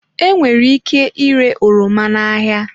Enwere ike ire oroma n'ahịa